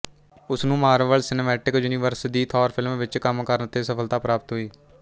ਉਸਨੂੰ Marvel Cinematic Universe ਦੀ Thor film ਵਿੱਚ ਕੰਮ ਕਰਨ ਤੇ ਸਫਲਤਾ ਪ੍ਰਾਪਤ ਹੋਈ